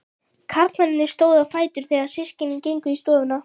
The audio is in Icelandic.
Karlmennirnir stóðu á fætur þegar systkinin gengu í stofuna.